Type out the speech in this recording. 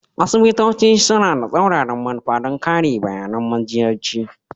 Asibitoci suna da tsauraran manufa don kare bayAnan majiyyaci